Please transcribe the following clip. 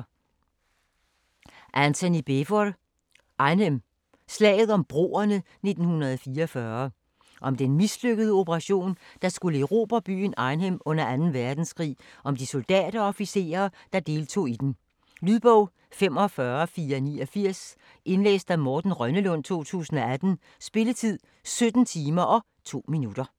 Beevor, Antony: Arnhem: slaget om broerne 1944 Om den mislykkede operation, der skulle erobre byen Arnhem under 2. verdenskrig, og om de soldater og officerer, der tog del i den. Lydbog 45489 Indlæst af Morten Rønnelund, 2018. Spilletid: 17 timer, 2 minutter.